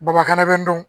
Bamakana bɛ n dɔn